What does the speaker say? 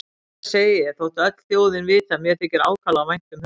Og þetta segi ég þótt öll þjóðin viti að mér þykir ákaflega vænt um hunda.